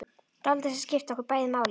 Dáldið sem skiptir okkur bæði máli.